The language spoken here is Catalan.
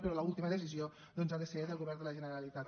però l’última decisió ha de ser del govern de la generalitat